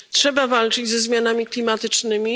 Trzeba walczyć ze zmianami klimatycznymi.